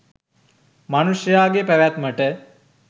මනුෂ්‍යයාගේ පැවැත්මට